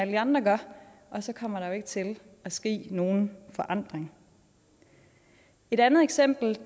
de andre gør og så kommer der jo ikke til at ske nogen forandring et andet eksempel